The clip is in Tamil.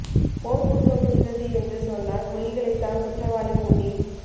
போர் குற்றம் புரிந்தது என்று சொன்னால் புலிகளைத் தான் குற்றவாளிக் கூண்டில்